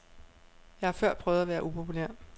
Jeg har før prøvet at være upopulær.